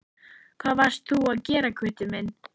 Hvað varst þú að gera Gutti minn?